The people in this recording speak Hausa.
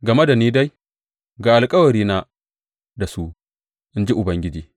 Game da ni dai, ga alkawarina da su, in ji Ubangiji.